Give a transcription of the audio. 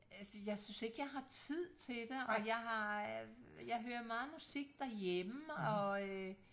Øh jeg synes ikke jeg har tid til og jeg har øh jeg hører meget musik derhjemme og øh